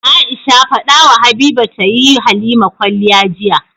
Aisha fadawa habiba tayi halima kwaliya jiya